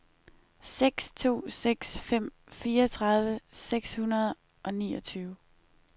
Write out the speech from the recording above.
seks to seks fem fireogtredive seks hundrede og niogtyve